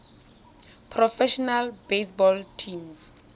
professional baseball teams